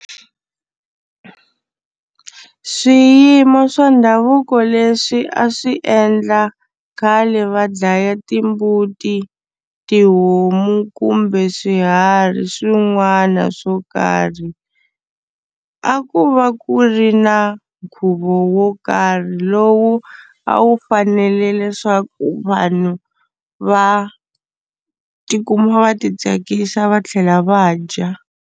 Swiyimo swa ndhavuko leswi a swi endla khale va dlaya timbuti, tihomu kumbe swiharhi swin'wana swo karhi a ku va ku ri na nkhuvo wo karhi lowu a wu fanele leswaku vanhu va tikuma va titsakisa va tlhela va dya.